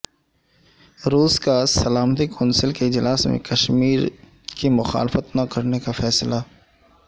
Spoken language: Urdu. روس کا سلامتی کونسل کے اجلاس میں کشمیر کی مخالفت نہ کرنے کا فیصلہ